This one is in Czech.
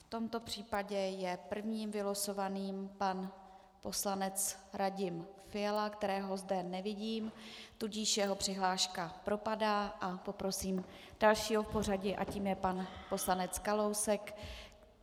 V tomto případě je prvním vylosovaným pan poslanec Radim Fiala, kterého zde nevidím, tudíž jeho přihláška propadá, a poprosím dalšího v pořadí a tím je pan poslanec Kalousek.